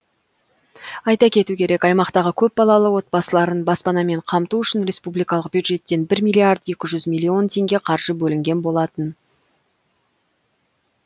айта кету керек аймақтағы көпбалалы отбасыларын баспанамен қамту үшін республикалық бюджеттен бір миллиард екі жүз миллион теңге қаржы бөлінген болатын